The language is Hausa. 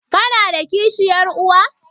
Kana da kishiyar uwa?